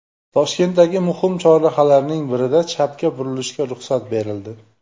Toshkentdagi muhim chorrahalarning birida chapga burilishga ruxsat berildi.